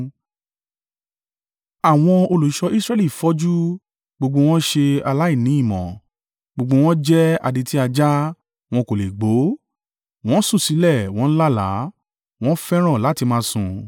Àwọn olùṣọ́ Israẹli fọ́jú, gbogbo wọn ṣe aláìní ìmọ̀; gbogbo wọn jẹ́ adití ajá, wọn kò lè gbó; wọ́n sùn sílẹ̀ wọ́n ń lálàá, wọ́n fẹ́ràn láti máa sùn.